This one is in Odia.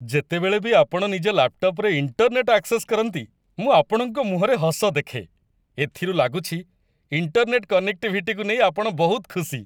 ଯେତେବେଳେ ବି ଆପଣ ନିଜ ଲାପ୍‌ଟପ୍‌‌ରେ ଇଣ୍ଟରନେଟ୍‌ ଆକ୍ସେସ୍ କରନ୍ତି, ମୁଁ ଆପଣଙ୍କ ମୁହଁରେ ହସ ଦେଖେ। ଏଥିରୁ ଲାଗୁଛି ଇଣ୍ଟରନେଟ୍‌ କନେକ୍ଟିଭିଟିକୁ ନେଇ ଆପଣ ବହୁତ ଖୁସି !